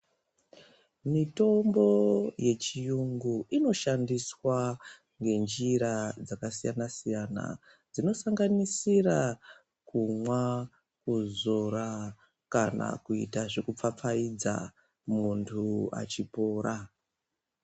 Mitombo yechiyungu inoshandiswa ngenjira dzakasiyana siyana. Dzinosanganisira kumwa, kuzora, kana kuita zvekupfapfayidza , muntu achipora .